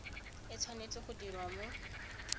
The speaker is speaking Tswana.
e tshwanetse go dirwa mo